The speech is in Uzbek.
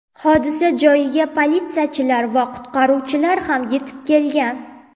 Hodisa joyiga politsiyachilar va qutqaruvchilar ham yetib kelgan.